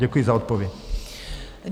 Děkuji za odpověď.